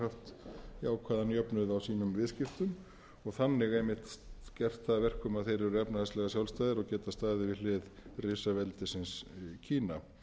jákvæðan jöfnuð á sínum viðskiptum og þannig einmitt gert það að verkum að þeir eru efnahagslega sjálfstæðir og geta staðið við hlið risaveldisins kína